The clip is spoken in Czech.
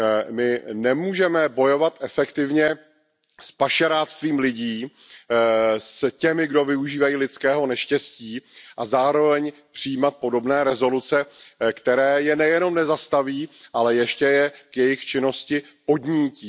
My nemůžeme bojovat efektivně s pašeráctvím lidí, s těmi, kdo využívají lidského neštěstí, a zároveň přijímat podobné rezoluce, které je nejenom nezastaví, ale ještě je k jejich činnosti podnítí.